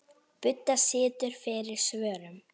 Budda situr fyrir svörum.